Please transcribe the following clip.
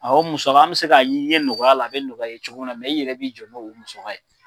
Ɔ ani bɛ se ka ɲin i ye nɔgɔya la, a bɛ nɔgɔya i ye cogo minna ,mɛ e yɛrɛ b'i jɔ n'o musaga ye.